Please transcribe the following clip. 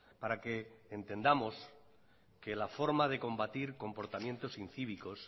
para que entendamos que la forma de combatir comportamientos incívicos